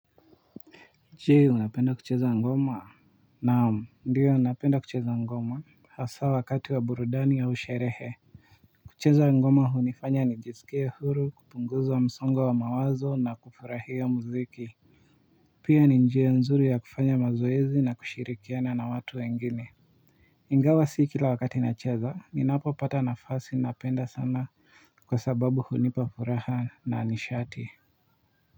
Je unapenda kucheza ngoma. Naam ndiyo napenda kucheza ngoma hasa wakati wa burudani au sherehe kucheza ngoma hunifanya nijisikie huru kupunguza msongo wa mawazo na kufurahia muziki pia ni njia nzuri ya kufanya mazoezi na kushirikiana na watu wengine. Ingawa si kila wakati nacheza ninapopata nafasi napenda sana kwa sababu hunipa furaha na nishati.